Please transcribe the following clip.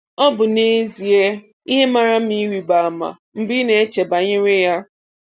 Ọ bụ n'ezie ihe mara mma ịrịba ama mgbe ị na-eche banyere ya.